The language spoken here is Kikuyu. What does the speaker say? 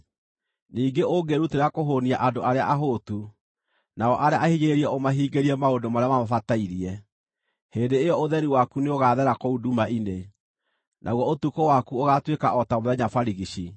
ningĩ ũngĩĩrutĩra kũhũũnia andũ arĩa ahũtu, nao arĩa ahinyĩrĩrie ũmahingĩrie maũndũ marĩa mamabatairie, hĩndĩ ĩyo ũtheri waku nĩũgaathera kũu nduma-inĩ, naguo ũtukũ waku ũgaatuĩka o ta mũthenya barigici.